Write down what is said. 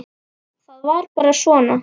Það var bara svona.